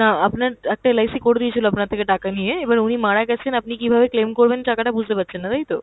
না আপনার একটা LIC করে দিয়েছিল আপনার থেকে টাকা নিয়ে, এবার উনি মারা গেছেন, আপনি কিভাবে claim করবেন টাকাটা বুঝতে পারছেন না তাই তো?